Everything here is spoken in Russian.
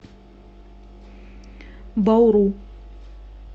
бауру